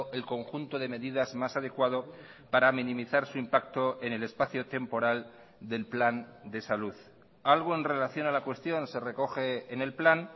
el conjunto de medidas más adecuado para minimizar su impacto en el espacio temporal del plan de salud algo en relación a la cuestión se recoge en el plan